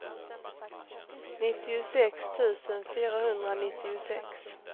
nittiosex tusen fyrahundranittiosex